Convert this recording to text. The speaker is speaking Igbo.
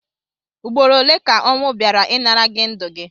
Ụgbọrọ ole ka onwu baịra ịnara gi ndu gi?